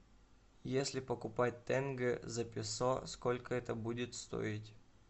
если покупать тенге за песо сколько это будет стоить